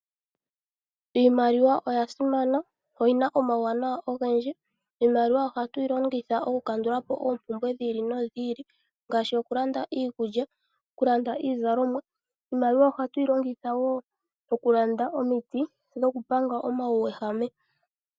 Iimaliwa oya simana, oyi na omawuwanawa ogendji. Iimaliwa ohatu yi longitha okukandula po oompumbwe dhiili nodhiili ngaashi okulanda iikulya, okulanda iizalomwa. Iimaliwa ohatuyi longitha wo okulanda omiti dhokupanga omauwehame.